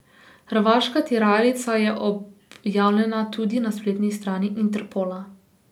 Hrvaška tiralica je objavljena tudi na spletni strani Interpola.